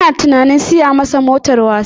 Ina tunanin siya masa motar wasa